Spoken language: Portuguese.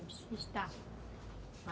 Eu disse, está.